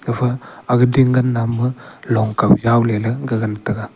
gafa aga ding gan namma long kaw yaw leley gagan tega.